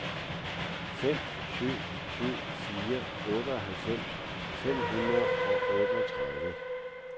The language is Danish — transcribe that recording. fem syv syv fire otteoghalvfems fem hundrede og otteogtredive